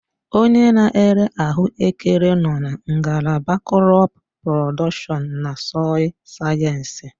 Onye na-ere ahuekere nọ na ngalaba krọp prodọkshọn na sọịl sayensị.